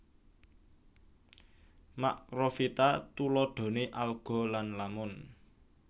Makrofita tuladhane alga lan lamun